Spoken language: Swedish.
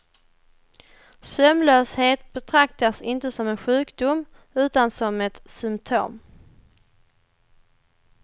Sömnlöshet betraktas inte som en sjukdom utan som ett symtom.